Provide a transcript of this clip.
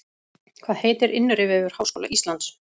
Hvað heitir innri vefur Háskóla Íslands?